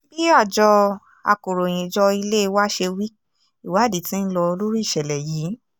bí àjọ akọ̀ròyìnjọ ilé wa ṣe wí ìwádìí tí ń lọ lórí ìṣẹ̀lẹ̀ yìí